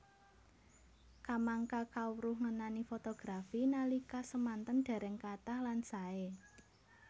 Kamangka kawruh ngenani fotografi nalika semanten dereng kathah lan sae